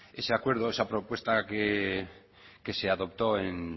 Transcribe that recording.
ese acuerdo esa propuesta que se adoptó en